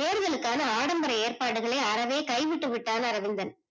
தேர்தல் காண ஆடம்பர ஏற்பாடுகளை அறவே கை விட்டு விட்டார் அரவிந்தன்